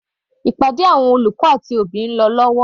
Ìpàdé àwọn olùkọ́ àti òbí ń lọ lọ́wọ́.